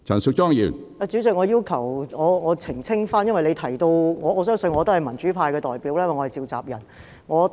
主席，我要澄清，因為你提到......我相信我可代表民主派發言，因為我是召集人。